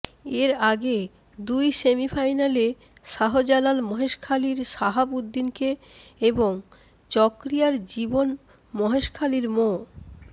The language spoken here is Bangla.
এর আগে দুই সেমিফাইনালে শাহজালাল মহেশখালীর শাহাব উদ্দিনকে এবং চকরিয়ার জীবন মহেশখালীর মো